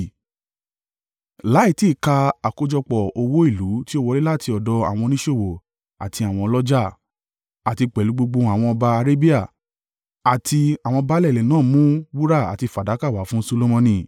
láì tí ì ka àkójọpọ̀ owó ìlú tí ó wọlé láti ọ̀dọ̀ àwọn oníṣòwò àti àwọn ọlọ́jà. Àti pẹ̀lú gbogbo àwọn ọba Arabia àti àwọn baálẹ̀ ilẹ̀ náà mu wúrà àti fàdákà wá fún Solomoni.